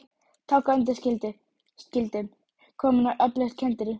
Togga undanskildum komin á öflugt kenderí.